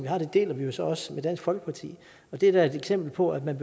har og det deler vi så også med dansk folkeparti det er da et eksempel på at man